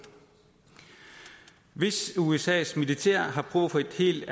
hvis usas militær har brug for en helt